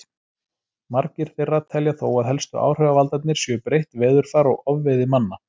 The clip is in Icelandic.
Margir þeirra telja þó að helstu áhrifavaldarnir séu breytt veðurfar og ofveiði manna.